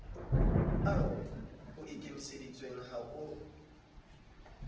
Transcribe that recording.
ao ho ikemiseditsweng ho a